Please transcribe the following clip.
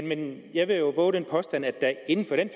men jeg vil jo vove den påstand at der inden for de